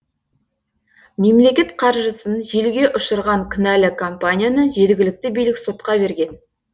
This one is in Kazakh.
мемлекет қаржысын желге ұшырған кінәлі компанияны жергілікті билік сотқа берген